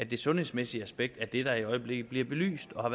det sundhedsmæssige aspekt er det der i øjeblikket bliver belyst og